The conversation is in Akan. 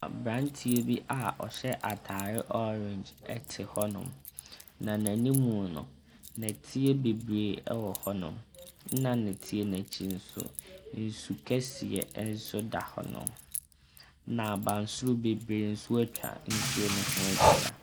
Abranteɛ bi a ɔhyɛ atare ɔreenge ɛte hɔnom. Na n'anim no, nnɛteɛ yɛ beberee ɛwɔ hɔnom. Nna nnɛteɛ n'akyi nso, nsu kɛseɛ nso da hɔnom. Na abansoro beberee nso etwa nsu no ho ahyia.